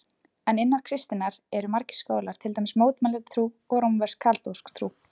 En innan kristninnar eru margir skólar, til dæmis mótmælendatrú og rómversk-kaþólsk trú.